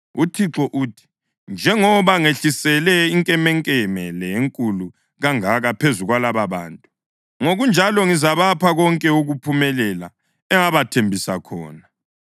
UThixo uthi: Njengoba ngehlisele inkemenkeme le enkulu kangaka phezu kwalababantu, ngokunjalo ngizabapha konke ukuphumelela engabathembisa khona.